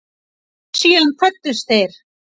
Síðan kvöddust þeir.